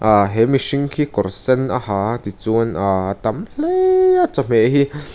ah he mihring khi kawr sen a ha a ah tichuan aaa tam hle a chawhmeh hi--